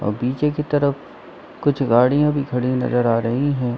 और पीछे की तरफ कुछ गड़िया भी खड़ी नजर आ रही है।